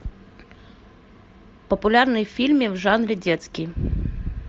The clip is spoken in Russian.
популярные фильмы в жанре детский